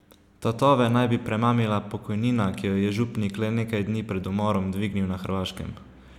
Tatove naj bi premamila pokojnina, ki jo je župnik le nekaj dni pred umorom dvignil na Hrvaškem.